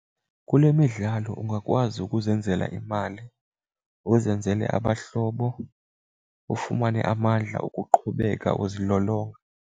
Kule midlalo ungakwazi ukuzenzela imali uzenzele abahlobo ufumane amandla okuqhubeka uzilolonga.